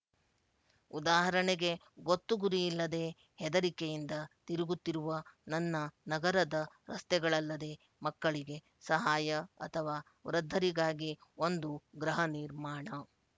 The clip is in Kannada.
ಉದಾಹರಣೆಗೆ ಗೊತ್ತು ಗುರಿಯಿಲ್ಲದೆ ಹೆದರಿಕೆಯಿಂದ ತಿರುಗುತ್ತಿರುವ ನನ್ನ ನಗರದ ರಸ್ತೆಗಳಲ್ಲದೆ ಮಕ್ಕಳಿಗೆ ಸಹಾಯ ಅಥವಾ ವೃದ್ಧರಿಗಾಗಿ ಒಂದು ಗೃಹ ನಿರ್ಮಾಣ